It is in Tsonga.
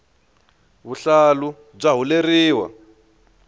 vuhlalu bya huleriwa